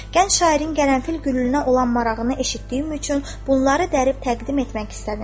Gənc şairin qərənfil gülünə olan marağını eşitdiyim üçün bunları dərib təqdim etmək istədim.